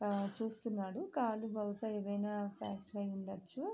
ఆ చూస్తున్నాడు కాలు బహుశా ఏమైనా ఫ్రాక్చర్ అయ్యుండొచ్చు.